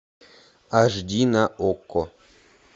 аш ди на окко